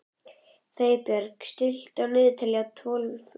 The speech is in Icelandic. Freybjörn, stilltu niðurteljara á tólf mínútur.